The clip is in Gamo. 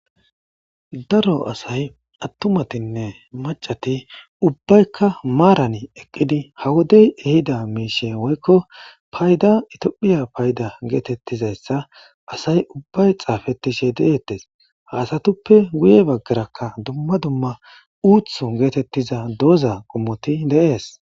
Daro asay attumatinne macati ubbaykka maarani eqqidi ha wodey ehida miishe woykko payda itoophiya payda geetettizayssa asay ubbay xaafetishe deeettes haasatuppe guye baggarakka dumma dumma uutho geetettiza dooza qommoti deees.